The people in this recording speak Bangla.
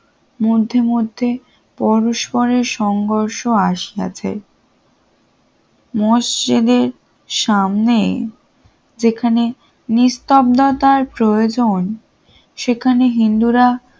মধ্যে মধ্যে পরস্পরের সংঘর্ষ আছে, মসজিদের সামনে যেখানে নিস্তব্ধতার প্রয়োজন সেখানে হিন্দুরা